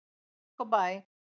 Bara takk og bæ!